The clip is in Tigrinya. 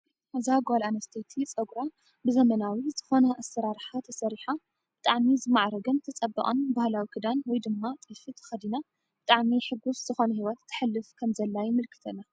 እዛ ጓል ኣነስተይቲ ፀጉራ ብዘማናዊ ዝኾነ አሰራርሓ ተሰሪሓ ብጣዕሚ ዝማዕረገን ዝፀበቀን ባህላዊ ክዳን ወይ ድማ ጥልፊ ተኸዲና ብጣዕሚ ሕጉስ ዝኾነ ሂወት ተሐልፍ ከም ዘላ የመላክተና፡፡